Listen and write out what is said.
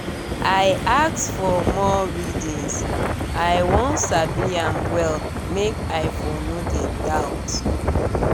i ask for more readings i wan sabi am well make i for no de doubt